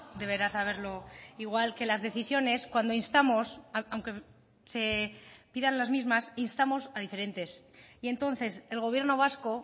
deberá saberlo igual que las decisiones cuando instamos aunque se pidan las mismas instamos a diferentes y entonces el gobierno vasco